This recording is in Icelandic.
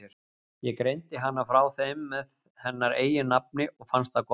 Ég greindi hana frá þeim með hennar eigin nafni og fannst það gott.